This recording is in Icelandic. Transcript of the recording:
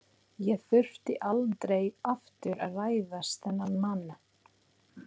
Ég þurfti aldrei aftur að hræðast þennan mann.